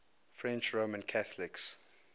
french roman catholics